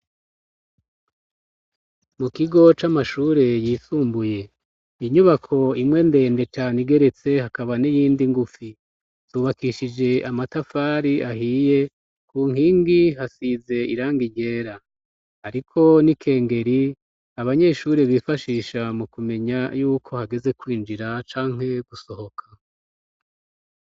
Mukigo c'amashure yisumbuye inyubako imwe ndende cane igeretse hakaba n'iyindi ngufi zubakishije amatafari ahiye kunkingi hasize irangi ryera, hariko n'ikengeri abanyeshuri bifashisha mukumenya yuko hageze kwinjira canke gusohoka.